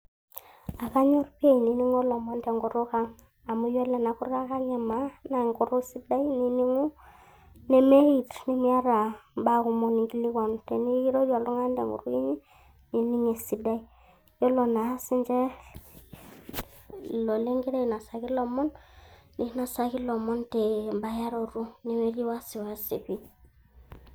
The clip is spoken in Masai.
Akanyor pi ainining'o ilomon tenkutuk ang'. Amu yiolo ena kutuk ang' emaa, naa enkutuk sidai nining'u, nemeeit, nemiata imbaa kumok ninkilikwanu. Tenikirorie oltung'ani tenkutuk inyi, nining' esidai. Yiolo na sinche, ilo ligira ainosaki lomon, ninosaki lomon te bayaroto nemetii wasiwasi.